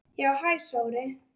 Já, hæ Sóri.